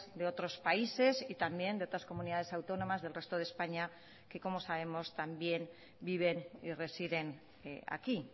de otros países y también de otras comunidades autónomas del resto de españa que como sabemos también viven y residen aquí